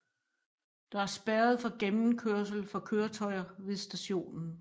Der er spærret for gennemkørsel for køretøjer ved stationen